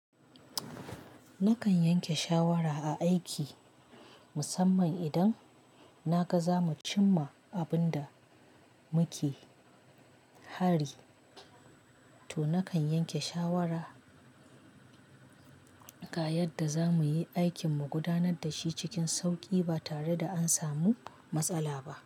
Nakan yanke shawara a aiki musamman idan na ga za mu cimma abun da muke hari, to nakan yanke shawara ga yadda za muyi aikin mu gudanar da shi cikin sauƙi ba tare da an samu matsala ba.